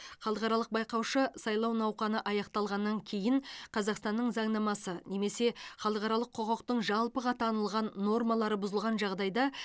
халықаралық байқаушы сайлау науқаны аяқталғаннан кейін қазақстанның заңнамасы немесе халықаралық құқықтың жалпыға танылған нормалары бұзылған жағдайда